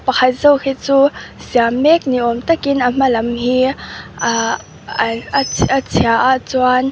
pakhat zawk hi chu siam mek ni awm takin a hma lam hi ah a a chhia a chuan--